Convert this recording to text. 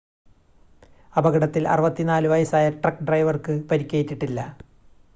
അപകടത്തിൽ 64 വയസ്സായ ട്രക്ക് ഡ്രൈവർക്ക് പരിക്കേറ്റിട്ടില്ല